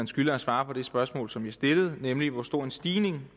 skylder at svare på det spørgsmål som jeg stillede nemlig hvor stor en stigning